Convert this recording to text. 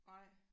Nej